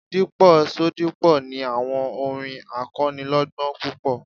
Dípò Ṣodipo ni àwọn orin akọ́nilọ́gbọ́n púpọ̀.